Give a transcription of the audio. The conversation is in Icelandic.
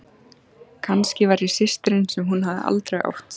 Kannski var ég systirin sem hún hafði aldrei átt.